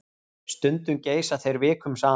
Stundum geysa þeir vikum saman.